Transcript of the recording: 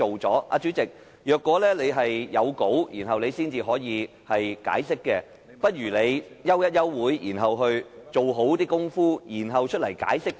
主席，如果你要有講稿才能解釋，不如你先行暫停會議，做好工夫，然後再向我們解釋。